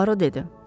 Puaro dedi.